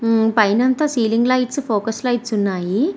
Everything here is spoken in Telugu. పైనంత సీలింగ్ లైట్ ఫోకస్ లైట్స్ ఉన్నాయి.